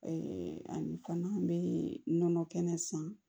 ani fana an bɛ nɔnɔ kɛnɛ san